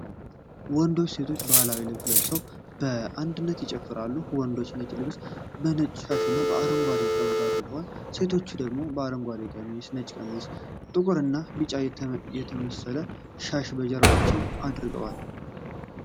ወንዶችና ሴቶች ባህላዊ ልብስ ለብሰው በአንድነት ይጨፍራሉ። ወንዶቹ ነጭ ልብስ ከነጭ ሻሽና ከአረንጓዴ ቀበቶ አድርገዋል። ሴቶቹ ደግሞ አረንጓዴ ቀሚስ፣ ነጭ ቀሚስና ጥቁርና ቢጫ የተመሰለ ሻሽ በጀርባቸው አድርገዋል።